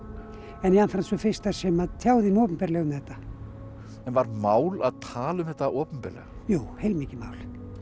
en jafnframt sú fyrsta sem tjáði mig opinberlega um þetta en var mál að tala um þetta opinberlega jú heilmikið mál